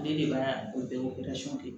Ne de b'a o bɛɛ